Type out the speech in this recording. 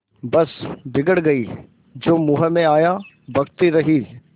बस बिगड़ गयीं जो मुँह में आया बकती रहीं